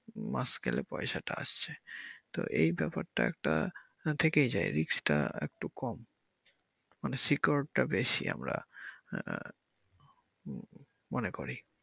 মাস গেলে পয়সা আসছে তো এই ব্যাপার টা একটা থেকেই যায় risk টা একটু কম মানে secure টা বেশি আমরা আহ মনে করি।